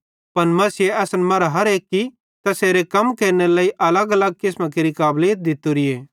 पन मसीहे असन मरां हर एक्की तैसेरू कम केरनेरे लेइ अलगअलग किसमेरी काबलीत दित्तोरीए